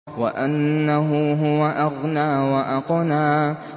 وَأَنَّهُ هُوَ أَغْنَىٰ وَأَقْنَىٰ